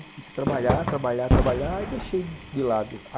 Comecei a trabalhar, trabalhar, trabalhar e deixei de lado.